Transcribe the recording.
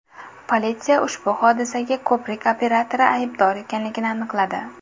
Politsiya ushbu hodisaga ko‘prik operatori aybdor ekanligini aniqladi.